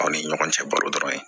Aw ni ɲɔgɔn cɛ balo dɔrɔn